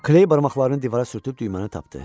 Kley barmaqlarını divara sürtüb düyməni tapdı.